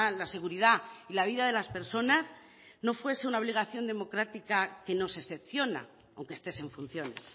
la seguridad y la vida de las personas no fuese una obligación democrática que no se excepciona aunque estés en funciones